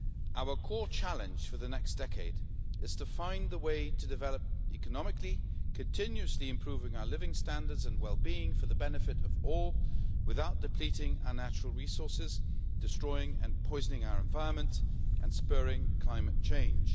Our core challenge for the next decade is to find a way to develop economically, continuously improving our living standards and well being for the benefit of all, without depleting our natural resources, destroying and poisoning our environment and spurring climate change.